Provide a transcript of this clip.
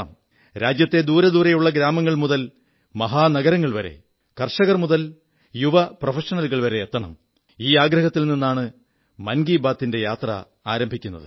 രാജ്യത്തെ ദൂരെദൂരെയുള്ള ഗ്രാമങ്ങൾ മുതൽ മഹാനഗരങ്ങൾ വരെ കർഷകർ മുതൽ യുവ പ്രൊഫഷണലുകൾ വരെ എത്തണം എന്നുള്ള ആഗ്രഹത്തിൽ നിന്നാണ് മൻ കീ ബാത്തിന്റെ യാത്ര ആരംഭിക്കുന്നത്